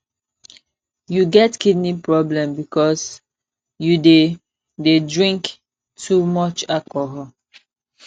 you get kidney problem because you dey dey drink too much alcohol